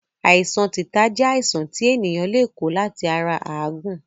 Àìsàn tìta jẹ́ àìsàn ti ènìyàn le ko láti ara Áàgun